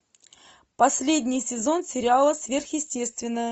последний сезон сериала сверхъестественное